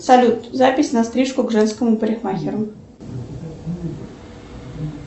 салют запись на стрижку к женскому парикмахеру